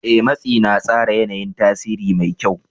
Ee, matsi na tsara yana yin tasiri mai kyau.